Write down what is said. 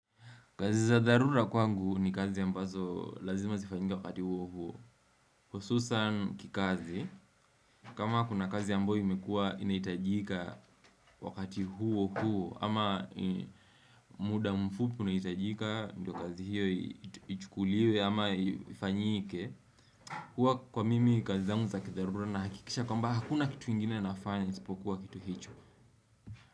Kazi za dharura kwangu ni kazi ambazo lazima zifanyika wakati huo huo hususan kikazi, kama kuna kazi ambayo imekua inaitajika wakati huo huo ama muda mfupu unaitajika, ndio kazi hiyo ichukuliwe ama ifanyike huwa kwa mimi kazi za kidharura na hakikisha kwamba hakuna kitu ingine nafanya, isipokuwa kitu hicho.